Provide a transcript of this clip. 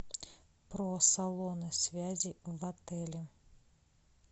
про салоны связи в отеле